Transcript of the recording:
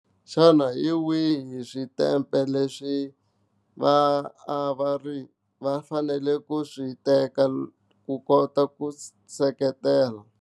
Xana hi wihi switempe leswi va a va ri va fanele ku swi teka ku kota ku seketela.